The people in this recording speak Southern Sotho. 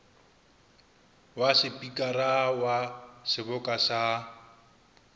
wa sepikara wa seboka sa